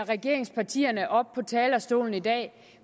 regeringspartierne oppe på talerstolen i dag